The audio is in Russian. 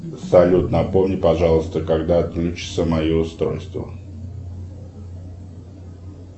салют напомни пожалуйста когда отключится мое устройство